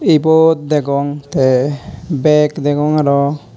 ibot degong te beg degong aro.